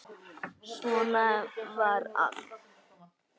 Svona var allt.